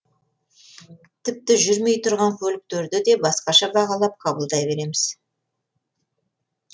тіпті жүрмей тұрған көліктерді де басқаша бағалап қабылдай береміз